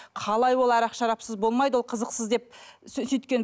қалай ол арақ шарапсыз болмайды ол қызықсыз деп сөйткен